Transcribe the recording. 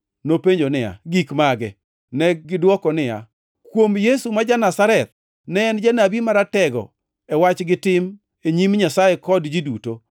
Nopenjo niya, “Gik mage?” Negidwoko niya, “Kuom Yesu ma ja-Nazareth. Ne en janabi, maratego e wach gi tim e nyim Nyasaye kod ji duto.